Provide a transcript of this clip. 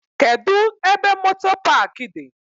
Kedụ ebe moto paaki dị?